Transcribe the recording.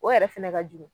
O yɛrɛ fɛnɛ ka jugu